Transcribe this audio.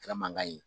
Kɛra mankan ye